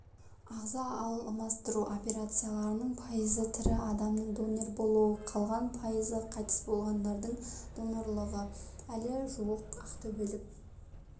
ағза алмастыру операцияларының пайызы тірі адамдардың донор болуы қалған пайызы қайтыс болғандардың донорлығы әлі жуық ақтөбелік